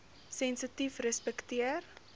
sensitiefrespekteer